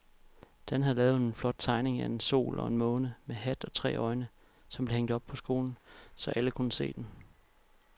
Dan havde lavet en flot tegning af en sol og en måne med hat og tre øjne, som blev hængt op i skolen, så alle kunne se den.